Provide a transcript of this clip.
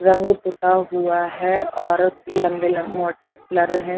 रंग पुता हुआ है औरत लम्बे लम मोटे क्लर है।